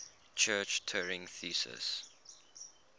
church turing thesis